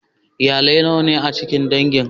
Iyalai nawa ne a cikin dangin?